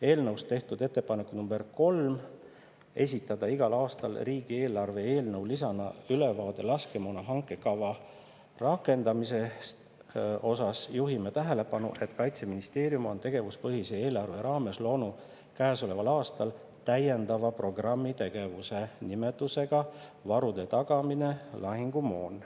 Eelnõus tehtud ettepaneku nr 3 "Esitada igal aastal riigieelarve eelnõu lisana ülevaade laskemoona hanke kava rakendamisest." osas juhime tähelepanu, et Kaitseministeerium on tegevuspõhise eelarve raames loonud käesoleval aastal täiendava programmitegevuse nimetusega "Varude tagamine: lahingumoon".